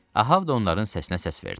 Ahav da onların səsinə səs verdi.